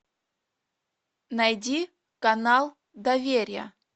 найди канал доверие